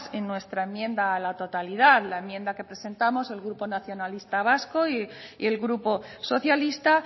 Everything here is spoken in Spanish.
en nuestra enmienda a la totalidad la enmienda que presentamos el grupo nacionalista vasco y el grupo socialista